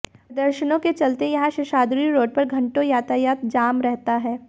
प्रदर्शनों के चलते यहां शेषाद्री रोड पर घंटों यातायात जाम रहता है